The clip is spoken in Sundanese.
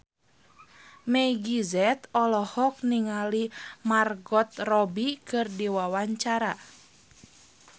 Meggie Z olohok ningali Margot Robbie keur diwawancara